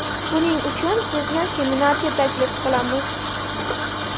Buning uchun sizni seminarga taklif qilamiz.